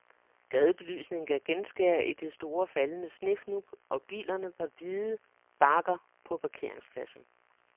Gadebelysningen gav genskær i de store faldende snefnug, og bilerne var hvide bakker på parkeringspladsen.